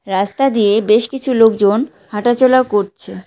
রাস্তা দিয়ে বেশ কিছু লোকজন হাঁটাচলা করছে।